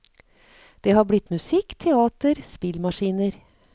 Det har blitt musikk, teater, spillmaskiner.